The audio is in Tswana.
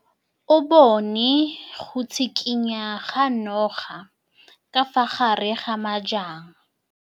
O bone go tshikinya ga noga ka fa gare ga majang.